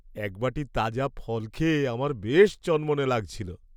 এক বাটি তাজা ফল খেয়ে আমার বেশ চনমনে লাগছিলো।